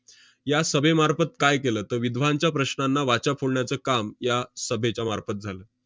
या सभेमार्फत काय केलं? तर विधवांच्या प्रश्नांना वाचा फोडण्याचं काम या सभेच्या मार्फत झालं.